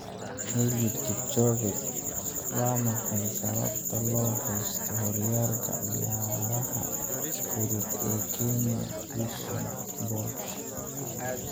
Eliud Kipchoge: Waa maxay sababta loo haysto horyaalka ciyaaraha fudud ee Kenya Usain Bolt?